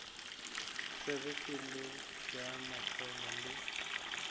tsebe polelo ya mahlo le